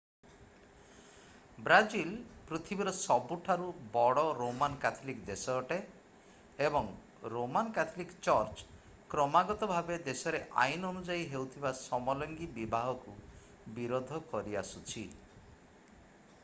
Brazil ପୃଥିବୀର ସବୁଠୁ ବଡ଼ ରୋମାନ କ୍ୟାଥଲିକ୍ ଦେଶ ଅଟେ ଏବଂ ରୋମାନ କ୍ୟାଥଲିକ୍ ଚର୍ଚ୍ଚ କ୍ରମାଗତ ଭାବେ ଦେଶରେ ଆଇନ ଅନୁଯାୟୀ ହେଉଥିବା ସମଲିଙ୍ଗୀ-ବିବାହକୁ ବିରୋଧ କରଆସୁଛି